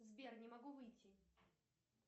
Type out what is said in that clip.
сбер не могу выйти